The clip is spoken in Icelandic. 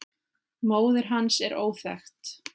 Móðir hans er óþekkt.